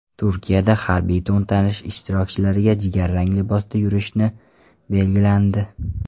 Turkiyada harbiy to‘ntarish ishtirokchilari jigarrang libosda yurishi belgilandi.